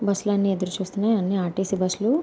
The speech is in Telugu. బస్ లన్ని ఎదురు చూస్తున్నాయి. అన్ని ఆర్.టి.సి బస్సులు .